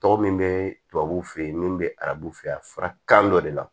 Tɔgɔ min bɛ tubabu fɛ ye min bɛ arabu fɛ a fɔra kan dɔ de la